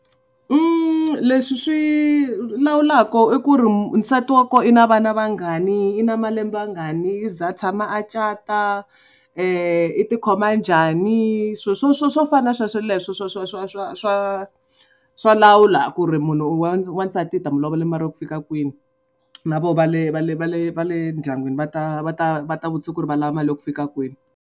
Leswi swi lawulaka i ku ri nsati wa kona i na vana vangani i na malembe a ngani i za a tshama a cata i ti khoma njhani swo swo swo swo fana na sweswo leswo swa swa swa swa swa swa lawula ku ri munhu wansati hi ta mu lovola ya ku fika kwini na voho va le va le va le va le ndyangwini va ta va ta va ta vutisa ku ri va lava mali ya ku fika kwini.